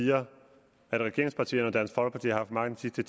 siger at regeringspartierne og dansk folkeparti har haft magten de